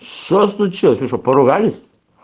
что случилось вы что поругались